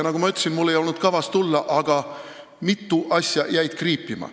Nagu ma ütlesin, mul ei olnud kavas siia tulla, aga mitu asja jäid kriipima.